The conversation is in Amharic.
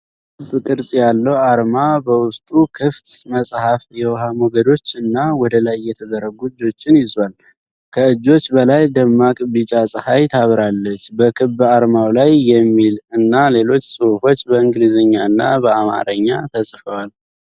ሰማያዊ ክብ ቅርጽ ያለው አርማ በውስጡ ክፍት መጽሐፍ፣ የውሃ ሞገዶች እና ወደላይ የተዘረጉ እጆችን ይዟል። ከእጆች በላይ ደማቅ ቢጫ ጸሃይ ታበራለች። በክብ አርማው ላይ የሚል እና ሌሎች ጽሁፎች በእንግሊዝኛና በአማርኛ ተጽፈዋል።